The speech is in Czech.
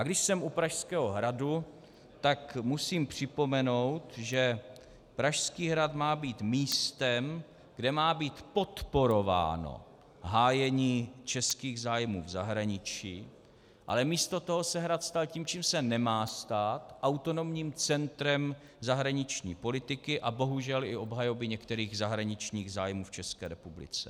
A když jsem u Pražského hradu, tak musím připomenout, že Pražský hrad má být místem, kde má být podporováno hájení českých zájmů v zahraničí, ale místo toho se Hrad stal tím, čím se nemá stát, autonomním centrem zahraniční politiky a bohužel i obhajoby některých zahraničních zájmů v České republice.